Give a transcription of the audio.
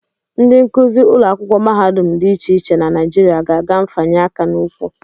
Ndị nkụzi ụlọakwụkwọ mahadum dị iche iche na Naijiria ga-aga mfanye aka n'ụkwụ